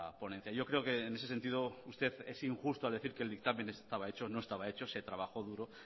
ponencia yo creo que en ese sentido usted es injusto al decir que el dictamen estaba hecho no estaba hecho se trabajó duro